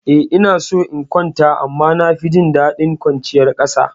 Eh ina so in kwanta amma na fi jin daɗin kwanciya a ƙasa.